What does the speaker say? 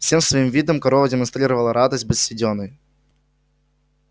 всем своим видом корова демонстрировала радость быть съедённой